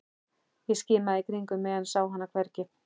Ég skimaði í kringum mig en sá hann hvergi.